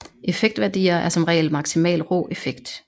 Effektværdier er som regel maksimal rå effekt